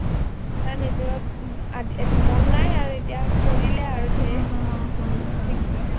ইমান এইবোৰত মন নাই আৰু এতিয়া কৰিলে আৰু ঢেৰ